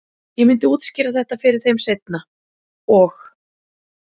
Ég myndi útskýra þetta fyrir þeim seinna- og